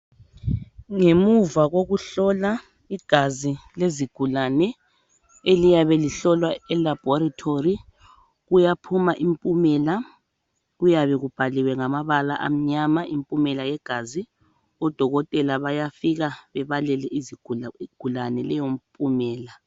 Ngemuva kokuhlola igazi lezigulane, eliyabe lihlolwa elabolatory kuyaphuma impumela kuyabe kubhaliwe ngamabala amnyama impumela yegazi. Odokotela bayafika bebalele izigulane leyompumela.